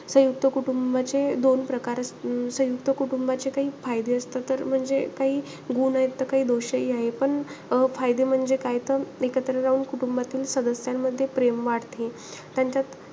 संयुक्त कुटुंबाचे दोन प्रकार अं संयुक्त कुटुंबाचे काही फायदे असता. तर म्हणजे काही गुण आहे त काही दोषही आहे. पण अं फायदे म्हणजे काय तर एकत्र राहून कुटुंबातील सदस्यांमध्ये प्रेम वाढते. त्यांच्यात,